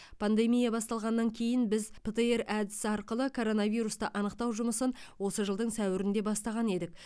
пандемия басталғаннан кейін біз птр әдісі арқылы коронавирусты анықтау жұмысын осы жылдың сәуірінде бастаған едік